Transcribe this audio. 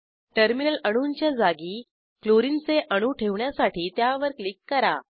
terminal अणूंच्या जागी chlorine चे अणू ठेवण्यासाठी त्यावर क्लिक करा